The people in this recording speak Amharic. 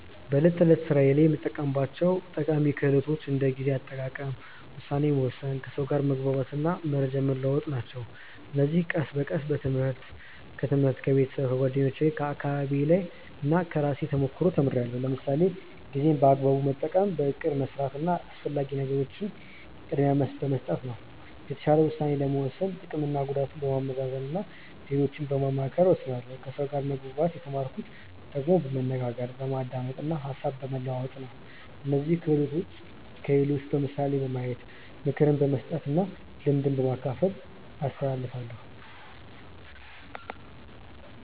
በዕለት ተዕለት ሥራዬ የምጠቀማቸው ጠቃሚ ክህሎቶች እንደ ጊዜ አጠቃቀም፣ ውሳኔ መወሰን፣ ከሰው ጋር መግባባት እና መረጃ መለዋወጥ ናቸው። እነዚህን ቀስ በቀስ በትምህርት፣ ከቤተሰብ፣ ከጓደኞቼ፣ ከአካባቢዬ እና ከራሴ ተሞክሮ ተምርያለሁ። ለምሳሌ ጊዜን በአግባቡ መጠቀም በእቅድ መስራት እና አስፈላጊ ነገርን ቅድሚያ በመስጠት ነው። የተሻለ ውሳኔ ለመወሰን ጥቅምና ጉዳትን በማመዛዘን እና ሌሎችን በማማከር እወስናለሁ ከሰው ጋር መግባባት የተማርኩት ደግሞ በመነጋገር፣ በማዳመጥ እና ሀሳብ በመለዋወጥ ነው። እነዚህን ክህሎቶች ለሌሎች በምሳሌ በማሳየት፣ ምክር በመስጠት እና ልምድ በማካፈል አስተላልፋለሁ።